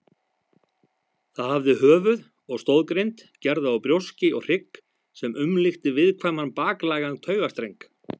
Það hafði höfuð og stoðgrind gerða úr brjóski og hrygg sem umlukti viðkvæman baklægan taugastreng.